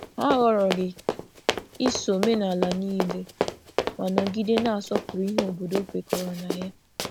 Hà họrọghị iso omenala niile, ma nọgide na-asọpụrụ ihe obodo kwekọrọ na ya.